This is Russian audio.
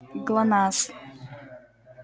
глонассс